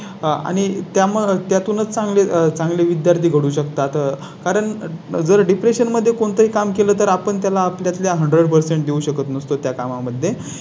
आणि त्या मग त्या तूनच चांगले चांगले विद्यार्थी करू शकतात. कारण जर Depression मध्ये कोणतेही काम केलं तर आपण त्याला आपल्या One zero zero percent देऊ शकत नसतो. त्या कामा मध्ये